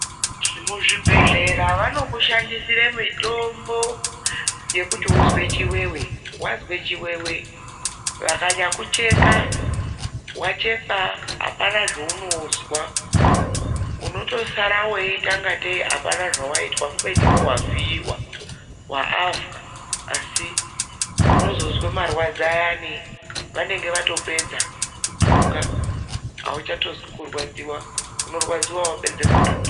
Muzvibhedhlera vanokushandisira mitombo yekuti uzwe chiwewe. Wazwe chiwewe vakanyakucheka, wachekwa apana zvaunozwa unotosara weita ingateyi auna zvawaitwa kubeni iwewe wavhiiwa waavhwa asi unozozwa marwadzo ayani vanenge vatopedza kutunga. Auchatozwi kurwadziwa, unorwadziwa wapedze kutungwa.